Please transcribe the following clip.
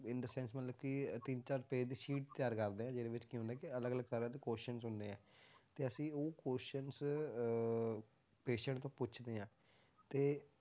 In the sense ਮਤਲਬ ਕਿ ਤਿੰਨ ਚਾਰ page ਦੀ sheet ਤਿਆਰ ਕਰਦੇ ਹਾਂ ਜਿਹਦੇ ਵਿੱਚ ਕੀ ਹੁੰਦਾ ਕਿ ਅਲੱਗ ਅਲੱਗ ਤਰ੍ਹਾਂ ਦੇ questions ਹੁੰਦੇ ਆ, ਤੇ ਅਸੀਂ ਉਹ questions ਅਹ patient ਤੋਂ ਪੁੱਛਦੇ ਹਾਂ ਤੇ